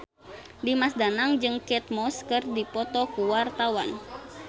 Dimas Danang jeung Kate Moss keur dipoto ku wartawan